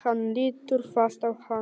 Hann lítur fast á hana.